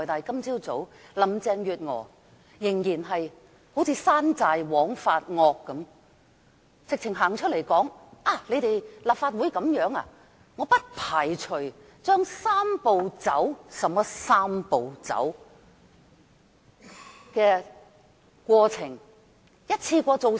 今早，林鄭月娥便彷如山寨王發惡般走出來說道："立法會這樣做，我不排除將'三步走'"——甚麼"三步走"——"的過程一次過做完。